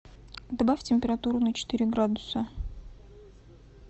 добавь температуру на четыре градуса